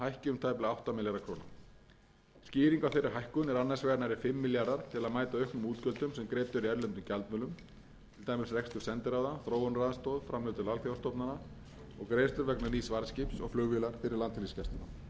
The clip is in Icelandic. skýring á þeirri hækkun er annars vegar nærri fimm milljarðar til að mæta auknum útgjöldum sem greidd eru í erlendum gjaldmiðlum til dæmis rekstur sendiráða þróunaraðstoð framlög til alþjóðastofnana og greiðslur vegna nýs varðskips og flugvélar fyrir landhelgisgæsluna hins vegar